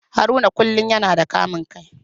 Haruna kullum yana da kamun kai.